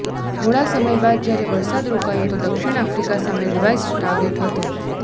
થોડા સમય બાદ જ્યારે વરસાદ રોકાયો તો દક્ષિણ આફ્રિકા સામે રિવાઈઝ્ડ ટાર્ગેટ હતો